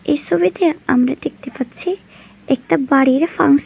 এই ছবিতে আমরা দেখতে পাচ্ছি একটি বাড়ির ফাং--